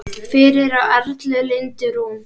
Fyrir á Erla Lindu Rún.